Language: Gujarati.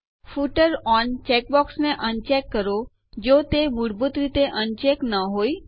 ફૂટર ઓન ચેકબોક્સને અનચેક કરો જો તે મૂળભૂત રીતે અનચેક ન હોય